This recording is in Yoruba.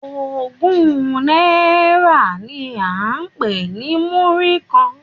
Ogún náírà ni à ń pè ní múrí kan.